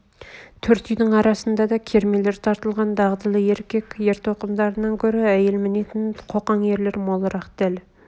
төрт үйдің арасында да кермелер тартылған дағдылы еркек ер-тоқымдарынан көр әйел мінетін қоқан ерлер молырақ дәл